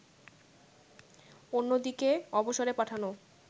অন্যদিকে, অবসরে পাঠানো